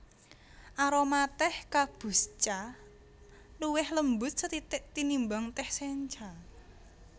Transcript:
Aroma tèh kabusecha luwih lembut sethithik tinimbang tèh sencha